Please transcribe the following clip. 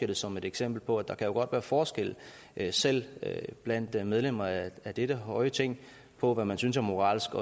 det som et eksempel på at der jo godt kan være forskel selv blandt medlemmer af dette høje ting på hvad man synes er moralsk